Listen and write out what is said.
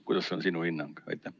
Milline on sinu hinnang?